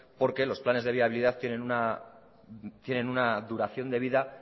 porque los planes de viabilidad tienen una duración de vida